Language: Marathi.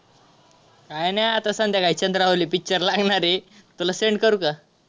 काय नाही आता संध्याकाळी चंद्रावली picture लागणार आहे तुला send करू का?